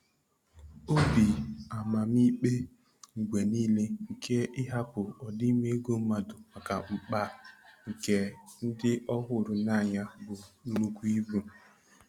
Obi amamikpe mgbe nile nke ịhapụ ọdịmma ego mmadụ maka mkpa nke ndị ọ hụrụ n'anya bụ nnukwu ibu.